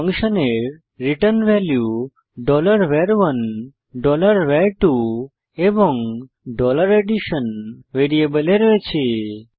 ফাংশনের return value var1 var2 এবং addition ভ্যারিয়েবলে রয়েছে